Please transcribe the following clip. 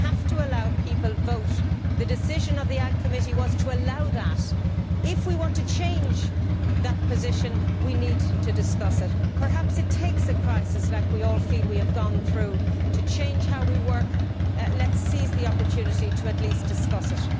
We have to allow people to vote. The decision of the AGRI Committee was to allow that. If we want to change that position, we need to discuss it. Perhaps it takes a crisis such as we all feel we have gone through to change how we work. Let us seize the opportunity to at least discuss it.